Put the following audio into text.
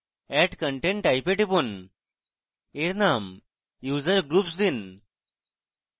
add content type এ টিপুন এর name user groups দিন